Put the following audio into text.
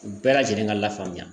U bɛɛ lajɛlen ka lafaamuya